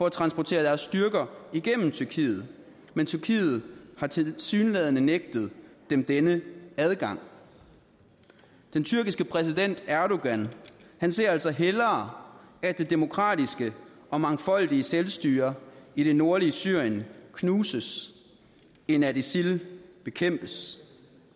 at transportere deres styrker igennem tyrkiet men tyrkiet har tilsyneladende nægtet dem denne adgang den tyrkiske præsident erdogan ser altså hellere at det demokratiske og mangfoldige selvstyre i det nordlige syrien knuses end at isil bekæmpes